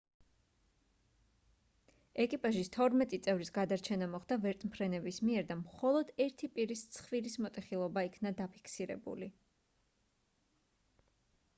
ეკიპაჟის თორმეტი წევრის გადარჩენა მოხდა ვერტმფრენების მიერ და მხოლოდ ერთი პირის ცხვირის მოტეხილობა იქნა დაფიქსირებული